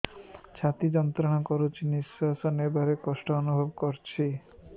ଛାତି ଯନ୍ତ୍ରଣା କରୁଛି ନିଶ୍ୱାସ ନେବାରେ କଷ୍ଟ ଅନୁଭବ କରୁଛି